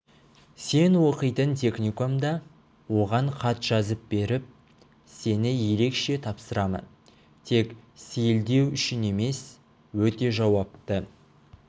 сен оқитын техникумда оған хат жазып беріп сені ерекше тапсырамын тек сейілдеу үшін емес өте жауапты